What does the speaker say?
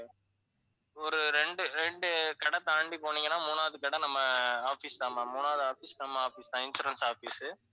ஒரு ரெண்டு, ரெண்டு கடை தாண்டி போனீங்கன்னா மூணாவது கடை நம்ம office தான் ma'am மூணாவது office நம்ம office தான் insurance office உ